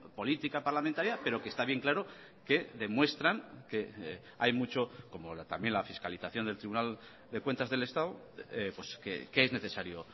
política parlamentaria pero que está bien claro que demuestran que hay mucho como también la fiscalización del tribunal de cuentas del estado que es necesario